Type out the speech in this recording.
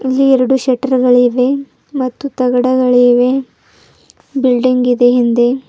ಇಲ್ಲಿ ಎರಡು ಶಟರ್ಗಳಿವೆ ಮತ್ತು ತಗಡಗಳಿವೆ ಬಿಲ್ಡಿಂಗ್ ಇದೆ ಹಿಂದೆ.